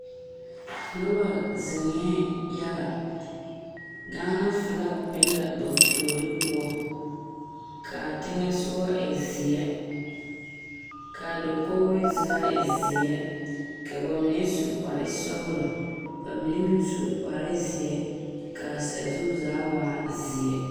Noba zeŋɛɛ yaga Gaana filagi be la ba puori poɔ k,a teŋɛ sogɔ e zeɛ k,a dakogri zaa e zeɛ ka ba mine su kparesɔglɔ ba mine meŋ su kpare zeɛ ka sazu zaa waa zeɛ.